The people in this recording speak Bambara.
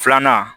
Filanan